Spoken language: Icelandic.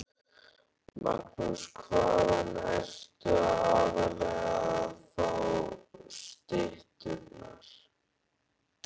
Magnús: Hvaðan ertu aðallega að fá stytturnar?